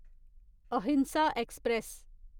अहिंसा एक्सप्रेस